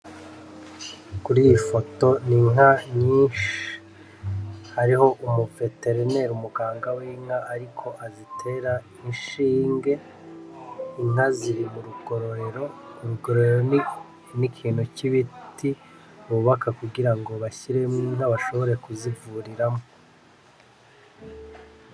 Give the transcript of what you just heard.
Ibigori vyinshi cane vyumagaye biterezwe ahantu hamwe babitonoye neza ivyo bigori bakaba bashobora kubikuramwo ibintu bitandukanye harimwo nk'ifu canke ibindi bintu.